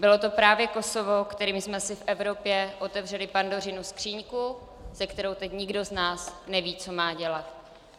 Bylo to právě Kosovo, kterým jsme si v Evropě otevřeli Pandořinu skříňku, se kterou teď nikdo z nás neví, co má dělat.